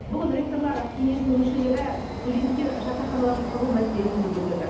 бүгін ректорлар кеңесінің мүшелері студенттер жатақханаларын салу мәселесін де көтерді